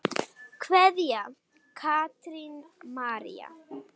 Kveðja, Katrín María.